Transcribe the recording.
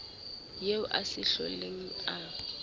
eo a sa hloleng a